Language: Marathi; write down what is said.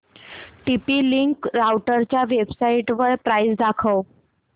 टीपी लिंक राउटरच्या वेबसाइटवर प्राइस दाखव